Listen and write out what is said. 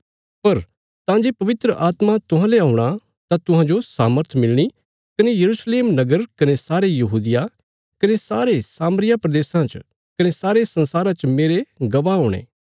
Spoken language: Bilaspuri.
पर तां जे पवित्र आत्मा तुहांले औणा तां तुहांजो सामर्थ मिलणी कने यरूशलेम नगर कने सारे यहूदिया कने सामरिया प्रदेशा च कने सारे संसारा च मेरे गवाह हुणे